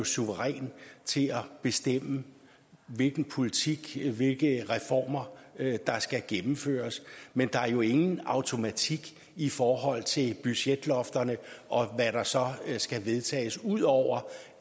suverænt bestemme hvilken politik hvilke reformer der skal gennemføres men der er jo ingen automatik i forhold til budgetlofterne og hvad der så skal vedtages ud over